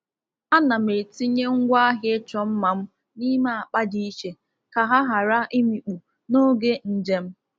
Ana m etinye ngwaahịa ịchọ mma m n’ime akpa di iche ka ha ghara imikpu n’oge njem.